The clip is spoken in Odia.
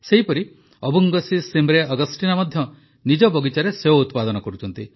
ସେହିପରି ଅବୁଙ୍ଗଶୀ ଶିମରେ ଅଗଷ୍ଟିନା ମଧ୍ୟ ନିଜ ବଗିଚାରେ ସେଓ ଉତ୍ପାଦନ କରୁଛନ୍ତି